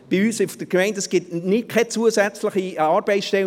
Bei uns auf der Gemeinde gibt es keine zusätzliche Arbeitsstelle.